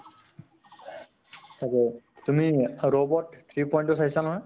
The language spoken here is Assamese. তাকে । তুমি robot three point তো চাইছা নহয় ?